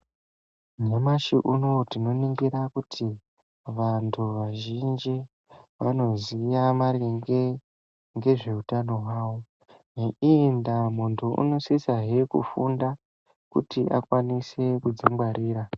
Nyamashi unowu tinoningira kuti vantu vazhinji vanoziva maringe nezvehutano hwavo ngeiyi ndaa muntu anosisa he kufunda kuti akwanise kuzvingwarira.